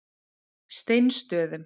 Steinsstöðum